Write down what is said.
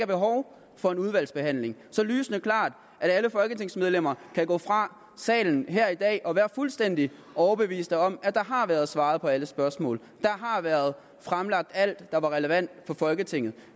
behov for en udvalgsbehandling så lysende klart at alle folketingsmedlemmer kan gå fra salen her i dag og være fuldstændig overbevist om at der har været svaret på alle spørgsmål der har været fremlagt alt der var relevant for folketinget